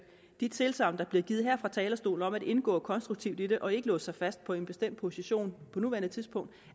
de tilsagn der bliver givet her fra talerstolen om at indgå konstruktivt i det og ikke låse sig fast på en bestemt position på nuværende tidspunkt